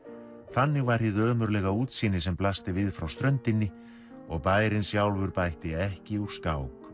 þannig var hið ömurlega útsýni sem blasti við frá ströndinni og bærinn sjálfur bætti ekki úr skák